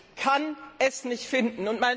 Ich kann es nicht finden.